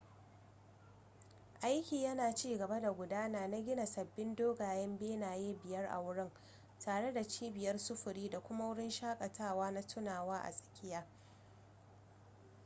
aiki yana cigaba da gudana na gina sababbin dogayen benaye biyar a wurin tare da cibiyar sufuri da kuma wurin shaƙatawa na tunawa a tsakiya